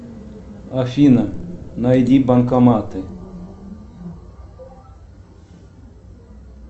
афина найди банкоматы